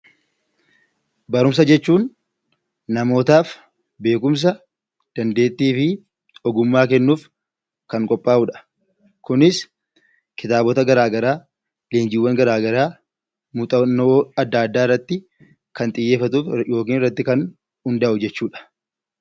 Barumsa jechuun namootaaf beekumsa, dandeettii fi ogummaa kennuuf kan qophaa'udha. Kunis kitaabota garaagaraa leenjiiwwan garaagaraa muuxannoowwan garaagaraa irratti kan xiyyeeffatu yookiin irratti kan hundaa'u jechuudha